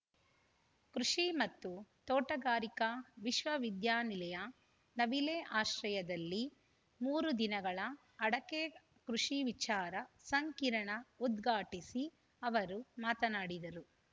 ಕೃಷಿ ಮತ್ತು ತೋಟಗಾರಿಕಾ ವಿಶ್ವವಿದ್ಯಾನಿಲಯ ನವಿಲೆ ಆಶ್ರಯದಲ್ಲಿ ಮೂರು ದಿನಗಳ ಅಡಕೆ ಕೃಷಿ ವಿಚಾರ ಸಂಕಿರಣ ಉದ್ಘಾಟಿಸಿ ಅವರು ಮಾತನಾಡಿದರು